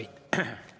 Aitäh!